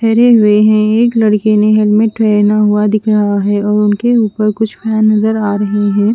ठहरे हुए है एक लडके ने हेलमेट ने पेहना हुआ दिख रहा है और उनके उपर कुछ फ्रें नजर आ रह ह--